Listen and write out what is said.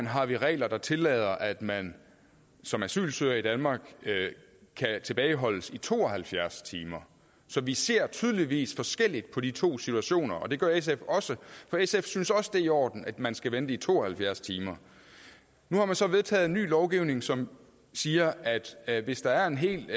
har vi regler der tillader at man som asylansøger i danmark kan tilbageholdes i to og halvfjerds timer så vi ser tydeligvis forskelligt på de to situation og det gør sf også for sf synes også det er i orden at man skal vente i to og halvfjerds timer nu har man så vedtaget en ny lovgivning som siger at hvis der er en helt